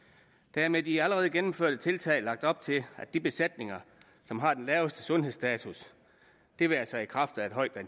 der er med de allerede gennemførte tiltag lagt op til at de besætninger som har den laveste sundhedsstatus det være sig i kraft af et højt